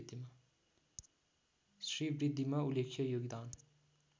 श्रीबृद्धिमा उल्लेख्य योगदान